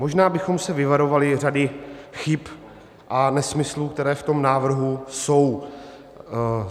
Možná bychom se vyvarovali řady chyb a nesmyslů, které v tom návrhu jsou.